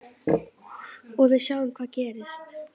Og við sjáum hvað gerist.